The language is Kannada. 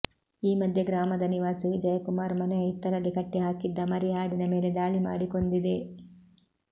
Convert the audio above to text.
ಈ ಮಧ್ಯೆ ಗ್ರಾಮದ ನಿವಾಸಿ ವಿಜಯಕುಮಾರ್ ಮನೆಯ ಹಿತ್ತಲಲ್ಲಿ ಕಟ್ಟಿ ಹಾಕಿದ್ದ ಮರಿ ಆಡಿನ ಮೇಲೆ ದಾಳಿ ಮಾಡಿ ಕೊಂದಿದೆ